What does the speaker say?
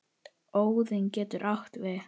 Óðinn getur átt við